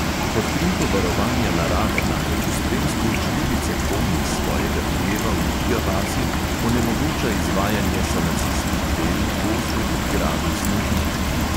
Pod krinko varovanja narave namreč v spremstvu čredice konj iz svojega hleva v iga vasi onemogoča izvajanje sanacijskih del v gozdu pri gradu snežnik